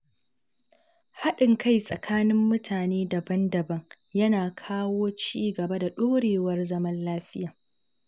Haɗin kai tsakanin mutane daban-daban yana kawo ci gaba da ɗorewar zaman lafiya